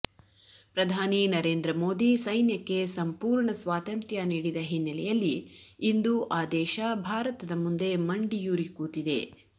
ಪ್ರಧಾನಿ ನರೇಂದ್ರ ಮೋದಿ ಸೈನ್ಯಕ್ಕೆ ಸಂಪೂರ್ಣ ಸ್ವಾತಂತ್ರ್ಯ ನೀಡಿದ ಹಿನ್ನೆಲೆಯಲ್ಲಿ ಇಂದು ಆ ದೇಶ ಭಾರತದ ಮುಂದೆ ಮಂಡಿಯೂರಿ ಕೂತಿದೆ